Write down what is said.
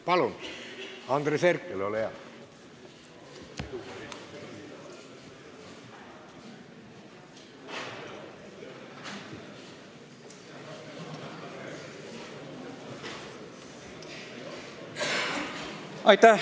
Palun, Andres Herkel, ole hea!